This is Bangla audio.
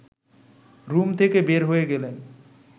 রুম থেকে বের হয়ে গেলেন